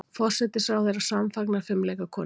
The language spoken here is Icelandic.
Forsætisráðherra samfagnar fimleikakonum